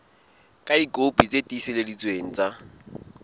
ka dikopi tse tiiseleditsweng tsa